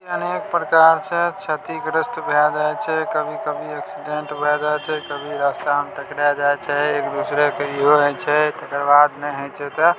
अनेक प्रकार से छतिग्रस्त भ़ाय जाय छै कभी-कभी एक्सीडेंट भाय जाय छै कभी रास्ता मे टकराय जाय छै एक-दूसरे के इहो हेय छै तेकर बाद ने हेय छै ते --